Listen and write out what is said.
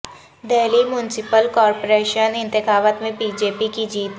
Delhi municipal corporation انتخابات میں B J P کی جیت